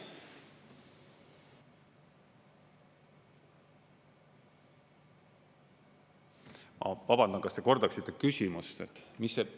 Ma vabandan, kas te kordaksite küsimust?